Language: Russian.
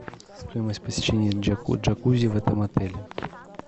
стоимость посещения джакузи в этом отеле